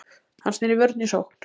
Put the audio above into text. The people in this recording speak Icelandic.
Hann sneri vörn í sókn.